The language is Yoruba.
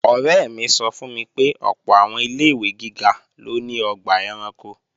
Ọ̀rẹ́ mi sọ fún mi pé ọ̀pọ̀ àwọn ilé-ìwé gíga ló ní ọgbà ẹranko